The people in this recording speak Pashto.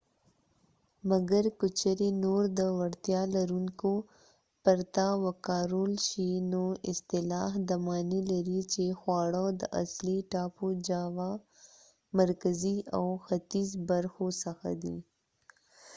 مګر که چیرې نور د وړتیا لرونکو پرته وکارول شي نو اصطلاح دا معنی لري چې خواړه د اصلي ټاپو جاوا مرکزي او ختیځ برخو څخه دي